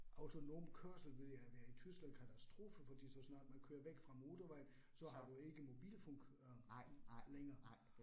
Autonom kørsel ville jo være i Tyskland katastrofe fordi så snart man kører væk fra motorvejen, så har du ikke mobilfunk øh længere